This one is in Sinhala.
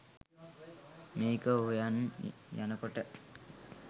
මේක හොයන් යනකොට